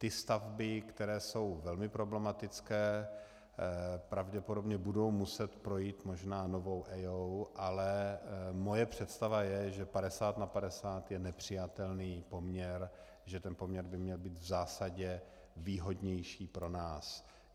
Ty stavby, které jsou velmi problematické, pravděpodobně budou muset projít možná novou EIA, ale moje představa je, že 50 na 50 je nepřijatelný poměr, že ten poměr by měl být v zásadě výhodnější pro nás.